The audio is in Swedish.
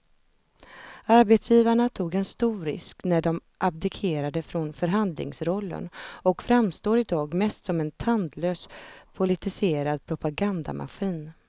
Arbetsgivarna tog en stor risk när de abdikerade från förhandlingsrollen och framstår i dag mest som en tandlös politiserad propagandamaskin.